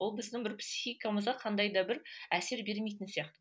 ол біздің бір психикамызға қандай да бір әсер бермейтін сияқты